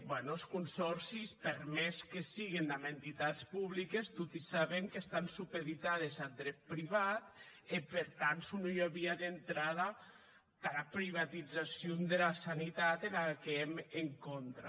ben es consòrcis per mès que siguen damb entitats publiques toti saben qu’estàn supeditats ath dret privat e per tant son ua via d’entrada tara privatizacion dera sanitat dera quau èm en contra